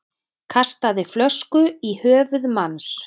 Kastaði flösku í höfuð manns